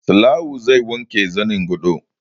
Salawu zai wanke zanin gadon